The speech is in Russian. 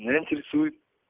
меня интересует